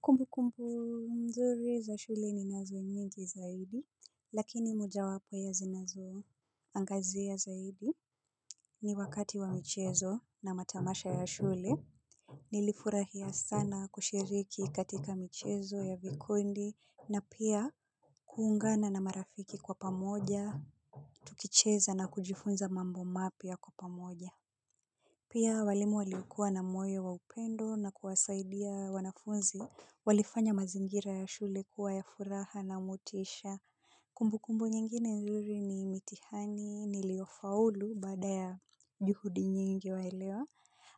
Kumbu kumbu mzuri za shule ni nazo nyingi zaidi lakini moja wapo ya zinazo angazia zaidi ni wakati wa michezo na matamasha ya shule. Nilifurahia sana kushiriki katika michezo ya vikundi na pia kuungana na marafiki kwa pamoja tukicheza na kujifunza mambo mapia kwa pamoja. Pia walimu walikuwa na moyo wa upendo na kuwasaidia wanafunzi walifanya mazingira ya shule kuwa ya furaha na motisha kumbu kumbu nyingine nzuri ni mitihani niliofaulu baada ya juhudi nyingi waelewa